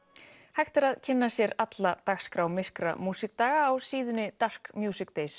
hægt er að kynna sér alla dagskrá myrkra músíkdaga á síðunni